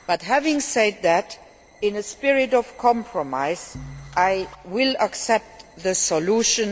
Having said that, in a spirit of compromise, I will accept the solution.